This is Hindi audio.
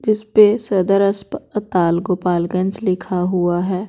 जिस पे सदर अस्पताल गोपालगंज लिखा हुआ है।